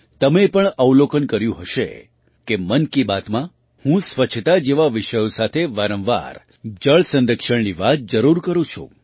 તમે પણ અવલોકન કર્યું હશે કે મન કી બાતમાં હું સ્વચ્છતા જેવા વિષયો સાથે વારંવાર જળ સંરક્ષણની વાત જરૂર કરું છું